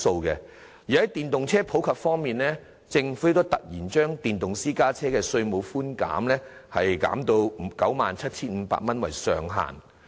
在電動車普及方面，政府突然把電動私家車的稅務寬免額削減至以 97,500 元為上限。